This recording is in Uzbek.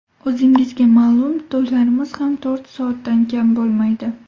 O‘zingizga ma’lum, to‘ylarimiz ham to‘rt soatdan kam bo‘lmaydi.